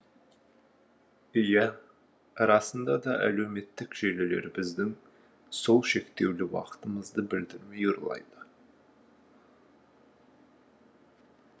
иә расында да әлеуметтік желілер біздің сол шектеулі уақытымызды білдірмей ұрлайды